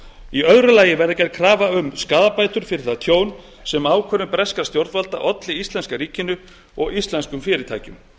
í öðru lagi verði gerð krafa um skaðabætur fyrir það tjón sem ákvörðun breskra stjórnvalda olli íslenska ríkinu og íslenskum fyrirtækjum